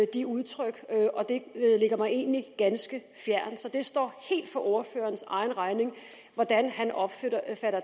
de udtryk og det ligger mig egentlig ganske fjernt så det står helt for ordførerens egen regning hvordan han opfatter